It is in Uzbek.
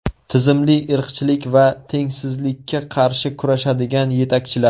Tizimli irqchilik va tengsizlikka qarshi kurashadigan yetakchilar.